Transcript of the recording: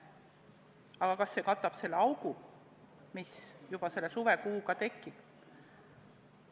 Aga kas see katab selle augu, mis juba selle suvega tekib?